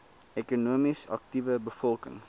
ekonomies aktiewe bevolking